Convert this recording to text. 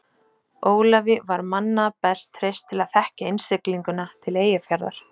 Ólafi var manna best treyst til að þekkja innsiglinguna til Eyjafjarðar.